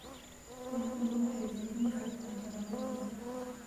Qorraxdu waxay dalban kartaa dalagyada.